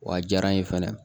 Wa a diyara n ye fɛnɛ